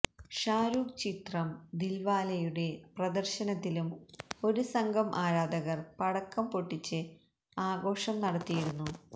ഷാരൂഖ് ചിത്രം ദിൽവാലെയുടെ പ്രദർശനത്തിലും ഒരു സംഘം ആരാധകർ പടക്കം പൊട്ടിച്ച് ആഘോഷം നടത്തിയിരുന്നു